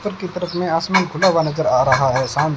ऊपर की तरफ मे आसमान खुला हुआ नज़र आ रहा है सामने--